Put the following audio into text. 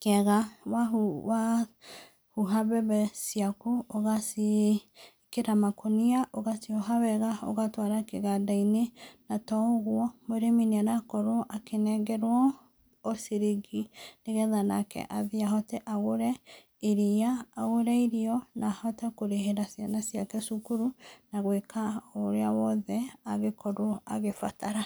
kĩega, wa hu wahuha mbembe ciaku ũgaciĩkĩra makũnia ũgacioha wega, ũgatwara kĩganda-inĩ, na to ũgwo mũrĩmi nĩ arakorwo akĩnengerwo o ciringi, nĩgetha nake athiĩ ahote agũre iria, agũre irio, na ahote kũrĩhĩra ciana ciake cukuru, na gwĩka ũrĩa wothe angĩkorwo agĩbatara.